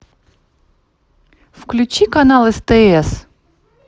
включи канал стс